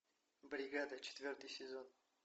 бригада четвертый сезон